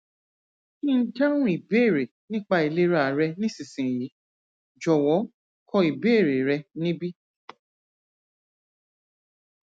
kí n dáhùn ìbéèrè nípa ìlera rẹ nísinsìnyí jòwó kọ ìbéèrè rẹ níbí